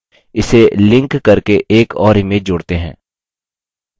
इसे लिंक करके एक और इमेज जोड़ते हैं